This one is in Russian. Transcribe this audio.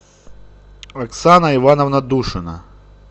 оксана ивановна душина